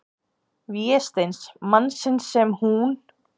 Vésteins, mannsins sem hún-